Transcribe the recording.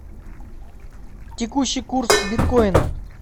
текущий курс биткоина